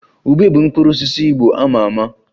Ube bụ mkpụrụ osisi Igbo a ma ama